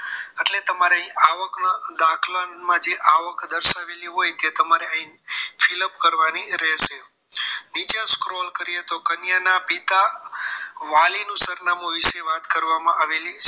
એટલે તમારે અહીં આવક ના દાખલા માં જે આવક દર્શાવેલી હોય તે તમારે અહીં fill up કરવાની રહેશે નીચે scroll કરીએ તો કન્યાના પિતા વાલીના સરનામું વિશે વાત કરવામાં આવેલી છે